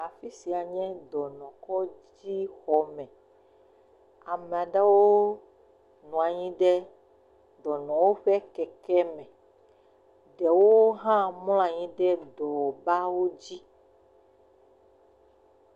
Afi sia nye dɔnɔkɔdzi xɔme, amea ɖewo nɔ anyi ɖe dɔnɔwo ƒe keke me, ɖewo hã mlɔ anyi ɖe dɔ bawo dzi.